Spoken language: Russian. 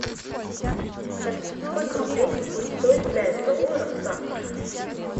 салют сколько рублей будет стоить пять долларов завтра